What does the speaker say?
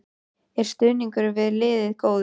Er stuðningur við liðið góður?